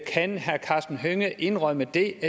kan herre karsten hønge indrømme det